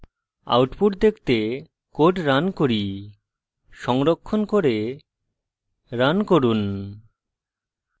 output দেখতে code run করি সংরক্ষণ করে রান করুন